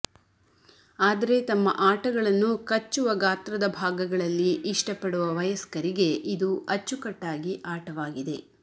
ಆದರೆ ತಮ್ಮ ಆಟಗಳನ್ನು ಕಚ್ಚುವ ಗಾತ್ರದ ಭಾಗಗಳಲ್ಲಿ ಇಷ್ಟಪಡುವ ವಯಸ್ಕರಿಗೆ ಇದು ಅಚ್ಚುಕಟ್ಟಾಗಿ ಆಟವಾಗಿದೆ